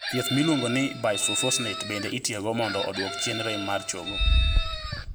Thieth miluongo ni bisphosphonates bende itiyo go mondo oduok piny rem mar chogo